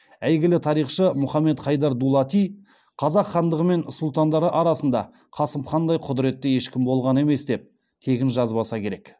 әйгілі тарихшы мұхаммед хайдар дулати қазақ хандығы мен сұлтандары арасында қасым хандай құдіретті ешкім болған емес деп тегін жазбаса керек